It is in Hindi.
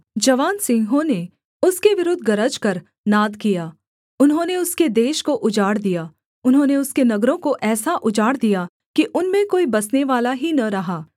जवान सिंहों ने उसके विरुद्ध गरजकर नाद किया उन्होंने उसके देश को उजाड़ दिया उन्होंने उसके नगरों को ऐसा उजाड़ दिया कि उनमें कोई बसनेवाला ही न रहा